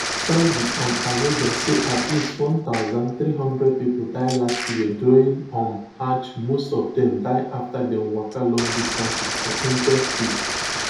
saudi um arabia say at least one thousand, three hundred people die last year during um hajj most of dem die afta dem waka long distances for in ten se heat